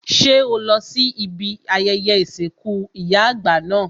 Ṣé o lọ sí ibi ayẹyẹ ìsìnkú ìyá àgbà náà?